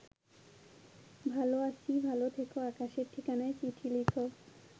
ভালো আছি ভালো থেকো আকাশের ঠিকানায় চিঠি লিখো